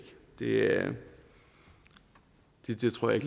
ikke det tror jeg